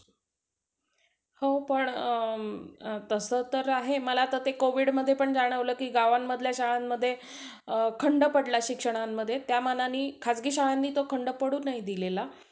हम्म